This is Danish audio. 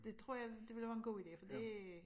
Det tror jeg det ville være en god idé for det